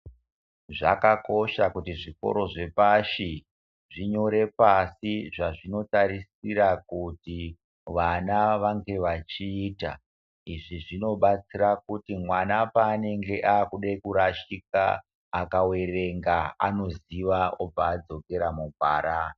Zvakakosha kuti zvikoro zvepashi zvinyore pasi zvazvinotarisira kuti vana vange vachiita. Izvi zvinobatsira kuti mwana paanenge akude kurashika akaverenga anoziva obva adzokera mugwara.